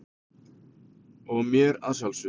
og mér að sjálfsögðu.